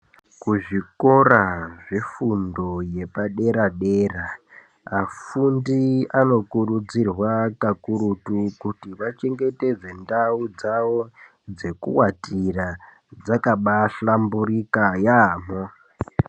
Ku zvikora zve fundo yepa dera dera afundi ano kurudzirwa kakurutu kuti vachengetedze ndau dzawo dzeku watira dzakabai hlamburika yamho.